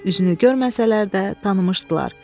Üzünü görməsələr də tanımışdılar.